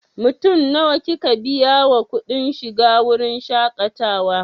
Mutum nawa kika biya wa kuɗin shiga wurin shaƙatawa?